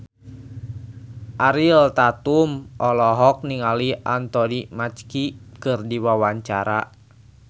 Ariel Tatum olohok ningali Anthony Mackie keur diwawancara